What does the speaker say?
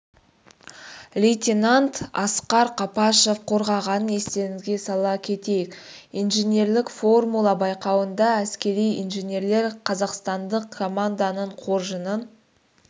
лейтенант асқар қапашов қорғағанын естеріңізге сала кетейік инженерлік формула байқауында әскери инженерлер қазақстандық команданың қоржынын